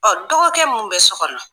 Ɔ dɔgɔkɛ mun bɛ so kɔnɔ